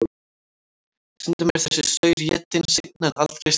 Stundum er þessi saur étinn seinna en aldrei strax.